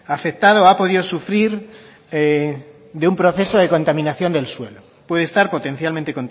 afectado ha podido sufrir de un proceso de contaminación del suelo puede estar potencialmente